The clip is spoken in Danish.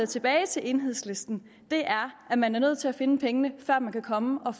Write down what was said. tilbage til enhedslisten er at man er nødt til at finde pengene før man kan komme og